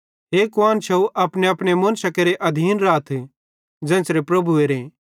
हे कुआन्शव अपनेअपने मुन्शां केरे अधीन राथ ज़ेन्च़रे प्रभुएरे